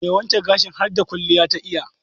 Mai wanke gashin harda kwalliya ta iya.